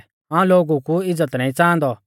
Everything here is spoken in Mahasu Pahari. हाऊं लोगु कु इज़्ज़त नाईं च़ांहादौ